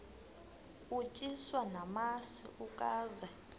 utyiswa namasi ukaze